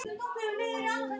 Auðlegð Íslendinga.